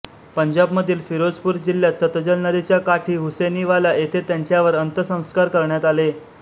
पंजाबमधील फिरोजपूर जिल्ह्यात सतलज नदीच्या काठी हुसेनीवाला येथे त्यांच्यावर अंत्यसंस्कार करण्यात आले